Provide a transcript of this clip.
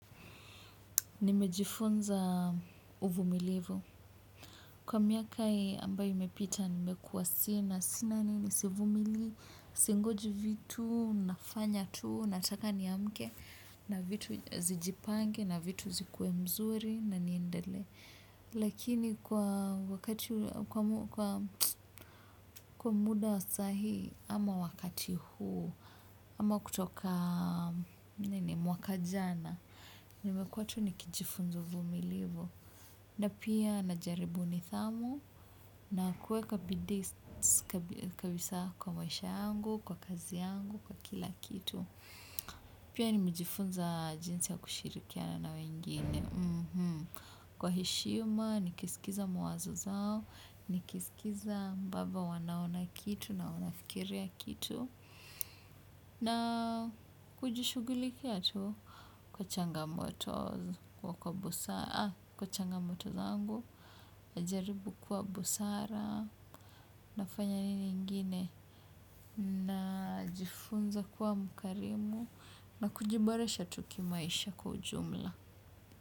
Nimejifunza uvumilivu kwa miaka ambayo imepita nimekuwa sina sivumili singoji vitu nafanya tu nataka niamke na vitu zijipange na vitu zikuwe mzuri na niendele lakini kwa muda wa saa hii ama wakati huu ama kutoka mwaka jana nimekua tu nikijifunza uvumilivu. Na pia najaribu nidhamu na kueka bidii kabisa kwa maisha yangu, kwa kazi yangu, kwa kila kitu. Pia nimejifunza jinsi ya kushirikiana na wengine. Kwa heshima, nikisikiza mwazo zao, nikisikiza ambavyo wanaona kitu na wanafikiria kitu. Na kujishugulikia tu kwa changamoto zangu, kwa busara, najaribu kwa busara, nafanya nini ingine, najifunza kuwa mkarimu, na kujiboresha tu kimaisha kwa ujumla.